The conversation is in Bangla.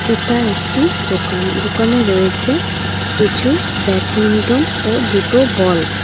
এটা একটি দোকান দোকানে রয়েছে কিছু ব্যাডমিন্টন ও দুটো বল ।